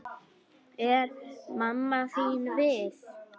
Er mamma þín við?